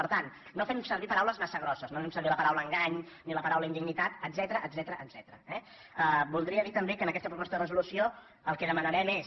per tant no fem servir paraules massa grosses no fem servir la paraula engany ni la pa raula indignitat etcètera eh voldria dir també que en aquesta proposta de resolució el que demanarem és